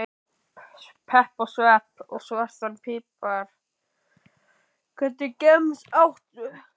Pepp og svepp og svartan pipar Hvernig gemsa áttu?